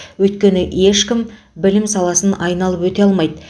өйткені ешкім білім саласын айналып өте алмайды